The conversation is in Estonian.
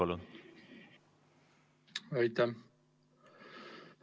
Aitäh!